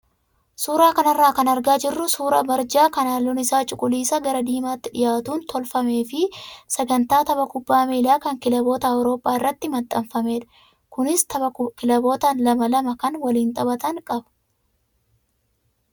Suuraa kanarraa kan argaa jirru suuraa barjaa kan halluun isaa cuquliisa gara diimaatti dhiyaatuun tolfamee fi sagantaan tapha kubbaa miilaa kan kilaboota awurooppaa irratti maxxanfamedha, Kunis tapha kilaboota lama lamaa kan waliin taphatan qaba.